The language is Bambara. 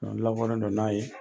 Ɔn n lakodɔnnen don n'a ye